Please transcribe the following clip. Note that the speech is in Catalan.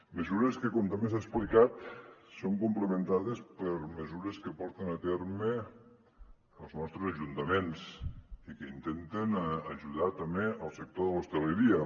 mesures que com també s’ha explicat són complementades per mesures que porten a terme els nostres ajuntaments i que intenten ajudar també el sector de l’hostaleria